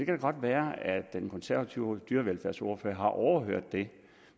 da godt være at den konservative dyrevelfærdsordfører har overhørt det